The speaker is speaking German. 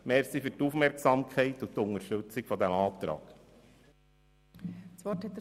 Danke für Ihre Aufmerksamkeit und die Unterstützung dieses Antrages.